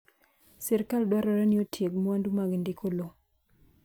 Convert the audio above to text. sirikal dwarore ni otieg mwandu mag ndiko lowo